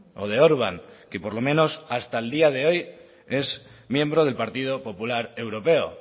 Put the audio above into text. o de orbán que por lo menos hasta el día de hoy es miembro del partido popular europeo